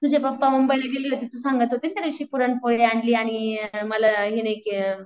तुझे 'पपा मुंबईला गेले होते तू सांगत होताना त्या दिवशी पुरणपोळी आणली आणि मला हे नाही के